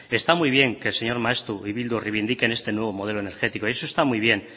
está muy bien que el señor maeztu y bildu reivindiquen este nuevo modelo energético eso está muy bien